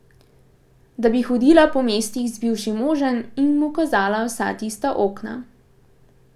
Da bi hodila po mestih z bivšim možem in mu kazala vsa tista okna.